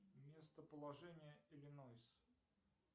местоположение иллинойс